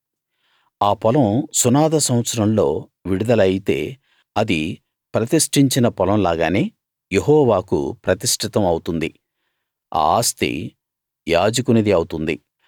ఆ పొలం సునాద సంవత్సరంలో విడుదల అయితే అది ప్రతిష్ఠించిన పొలం లాగానే యెహోవాకు ప్రతిష్ఠితం అవుతుంది ఆ ఆస్తి యాజకునిది అవుతుంది